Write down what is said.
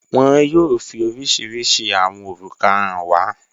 Wọn yóò fi oríṣiríṣí awọn orúkà hàn wà